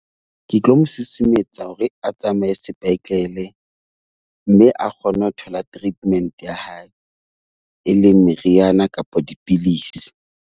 Ke tlo mo susumetsa hore a tsamaye sepetlele mme a kgone ho thola treatment ya hae, e leng meriana kapa dipidisi.